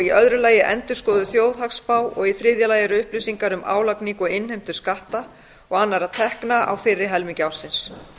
í öðru lagi endurskoðuð þjóðhagsspá og í þriðja lagi upplýsingar um álagningu og innheimtu skatta og annarra tekna á fyrri helmingi ársins